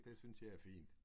Det synes jeg er fint